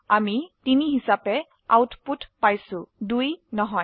আমি 3 হিসাবে আউটপুট পাইছো 2 নহয়